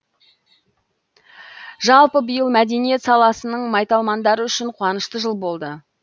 жалпы биыл мәдениет саласының майталмандары үшін қуанышты жыл болды